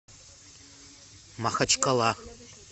махачкала